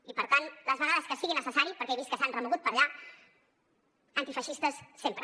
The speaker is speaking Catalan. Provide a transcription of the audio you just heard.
i per tant les vegades que sigui necessari perquè he vist que s’han remogut per allà antifeixistes sempre